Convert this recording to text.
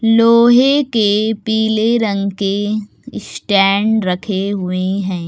लोहे के पीले रंग के स्टैंड रखे हुए हैं।